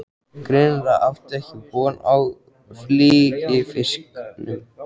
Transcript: Greinilega ekki átt von á fylgifisknum, vantar stól.